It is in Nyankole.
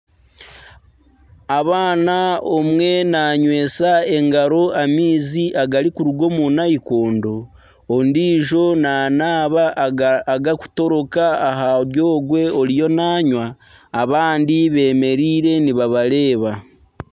Abaana omwe nanywesa engaro amaizi agarikuruga omu nayikondo ondiijo nanaaba agakutoroka ahari ogwe oriyo nanywa abandi bemereire nibabareeba.